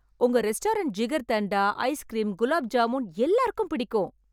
உங்க restaurant jigarthanda, ice cream gulab jamun எல்லாருக்கும் பிடிக்கும்.